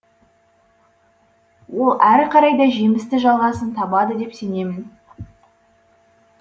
ол әрі қарай да жемісті жалғасын табады деп сенемін